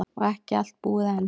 Og ekki allt búið enn.